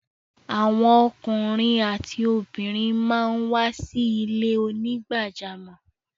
Awọn ọkùnrin àtí obìnrin màá ń wá sí ilẹ̀-onígbàjàmọ́.